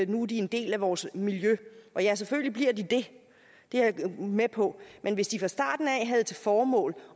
nu er en del af vores miljø ja selvfølgelig bliver de det det er jeg med på men hvis de fra starten havde til formål